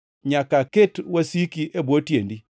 nyaka aket wasiki e bwo tiendi.” ’+ 20:43 \+xt Zab 110:1\+xt*